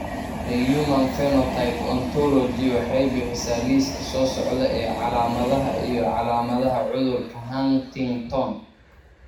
The Human Phenotype Ontology waxay bixisaa liiska soo socda ee calaamadaha iyo calaamadaha cudurka Huntington.